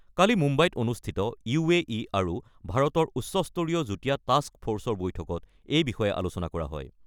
কালি মুম্বাইত অনুষ্ঠিত আৰু ভাৰতৰ উচ্চস্তৰীয় যুটীয়া টাক্স ফ'ৰ্চৰ বৈঠকত এই বিষয়ে আলোচনা কৰা হয়।